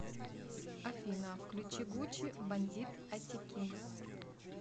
афина включи гучи бандит атикин